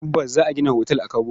Tabbas! Za a gina otal a Kabo.